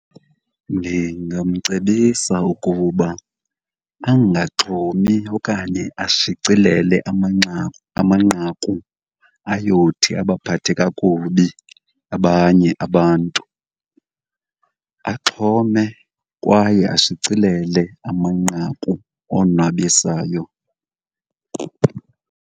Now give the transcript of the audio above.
Ndingamcebisa ukuba angaxhomi okanye ashicilele amanqaku ayothi abaphathe kakubi abanye abantu. Axhome kwaye ashicilele amanqaku onwabisayo.